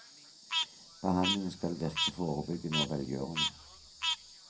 Behandlingen skal virke forebyggende og velgjørende.